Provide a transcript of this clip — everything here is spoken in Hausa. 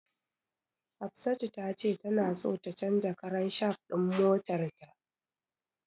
Hafsatu tace tana so ta canja karan shaf din motarta.